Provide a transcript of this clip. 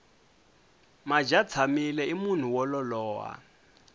madyatshamile i munhu wo lolowa